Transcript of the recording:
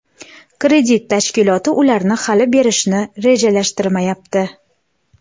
kredit tashkiloti ularni hali berishni rejalashtirmayapti.